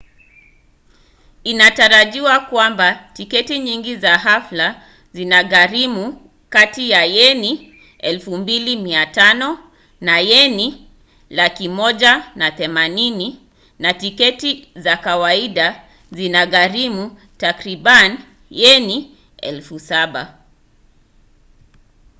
inatarajiwa kwamba tiketi nyingi za hafla zitagharimu kati ya yeni 2,500 na yeni 130,000 na tiketi za kawaida zikigharimu takriban yeni 7,000